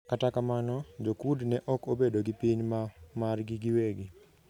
Kata kamano, Jo-Kurd ne ok obedo gi piny ma margi giwegi.